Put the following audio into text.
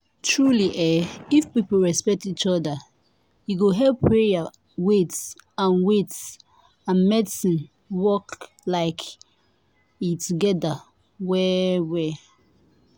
truely eeh if people respect each oda e go help prayer wait and wait and medicine work like eeh togeda well well.